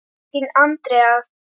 Þín, Andrea.